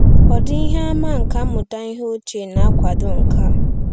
Ọ̀ dị ihe àmà nkà mmụta ihe ochie na-akwado nke a?